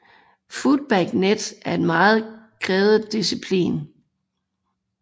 Footbag Net er en meget krævende disciplin